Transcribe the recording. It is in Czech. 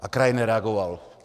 A kraj nereagoval.